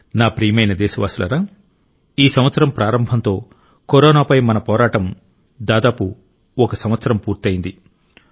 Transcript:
నా ప్రియమైన దేశవాసులారా ఈ సంవత్సరం ప్రారంభంతో కరోనాపై మన పోరాటం కూడా దాదాపు ఒక సంవత్సరం పూర్తయింది